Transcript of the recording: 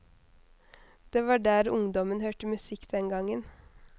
Det var der ungdommen hørte musikk den gangen.